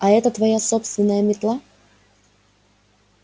а это твоя собственная метла